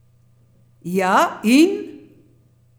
Ja, in?